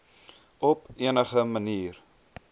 op enige manier